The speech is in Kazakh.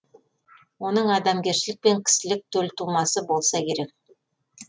оның адамгершілік пен кісілік төл тумасы болса керек